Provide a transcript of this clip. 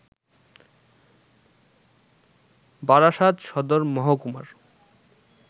বারাসাত সদর মহকুমার